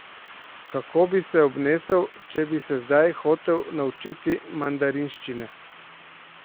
Kako bi se obnesel, če bi se zdaj hotel naučiti mandarinščine?